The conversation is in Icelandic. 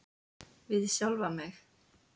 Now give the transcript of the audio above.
Við sjálfan mig.